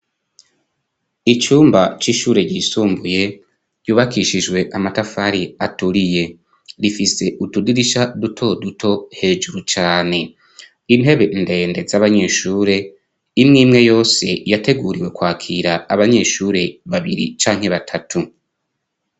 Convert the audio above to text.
icyumba cy'ishure ryisumbuye yubakishijwe amatafari aturiye rifise utudirisha duto duto hejuru cyane intebe ndende z'abanyeshure imwimwe yose yateguriwe kwakira abanyeshuri babiri canke batatu